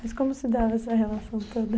Mas como se dava essa relação toda?